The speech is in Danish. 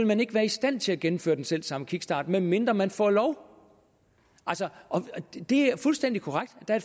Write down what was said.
man ikke være i stand til at gennemføre den selv samme kickstart medmindre man får lov altså det er fuldstændig korrekt at der